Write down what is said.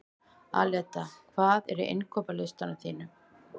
Aleta, hvað er á innkaupalistanum mínum?